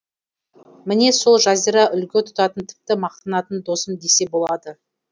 міне сол жазира үлгі тұтатын тіпті мақтанатын досым десе болады